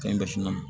Cɛn bɛ finman don